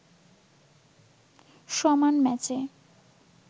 সমান ম্যাচে